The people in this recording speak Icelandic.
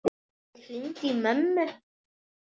Ég hringdi í mömmu.